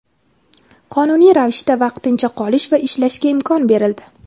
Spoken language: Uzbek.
qonuniy ravishda vaqtincha qolish va ishlashga imkon berildi.